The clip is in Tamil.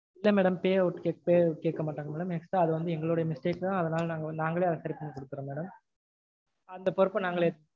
இல்ல madam payout payout கேக்க மாட்டாங்க madam extra அது வந்து எங்களோடைய mistake தா. அதனால நாங்க நாங்களே அத சரி பண்ணி கொடுக்கறோம் madam அந்த பொறுப்ப நாங்களே ஏத்துக்கறோம்.